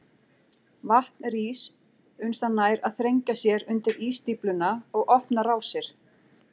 Vatn rís uns það nær að þrengja sér undir ísstífluna og opna rásir.